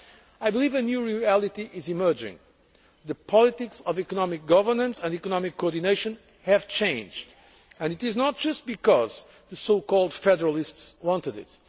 I believe a new reality is emerging. The politics of economic governance and economic coordination have changed and this is not just because the so called federalists wanted